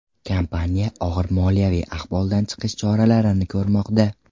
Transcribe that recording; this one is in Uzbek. Kompaniya og‘ir moliyaviy ahvoldan chiqish choralarini ko‘rmoqda.